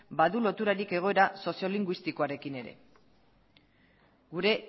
badu loturarik egoera soziolinguistikoarekin ere gure